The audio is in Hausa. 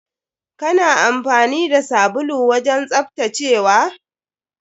Kana amfani da sabulu wajen tsaftacewa?